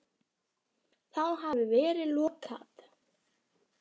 Þá hafi verið lokað.